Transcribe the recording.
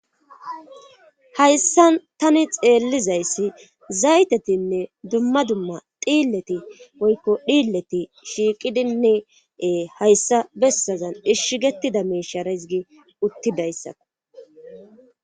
Hayssa tani xeellizayssi zaytetinne dumma dumma dhiilleti woykko dhiilleti shiiqidinee hayssa bessazan ishshgettida meshara hissgi uttidayssa